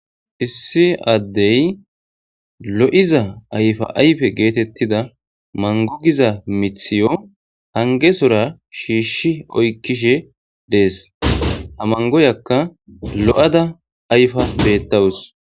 Issi addey loyzza ayfaayffe getetizza mango gizza mithew hangezzora shishi oykishe dees ha mangoyakka lo'dda ayffa betaws.